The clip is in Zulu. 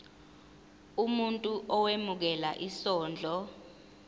umuntu owemukela isondlo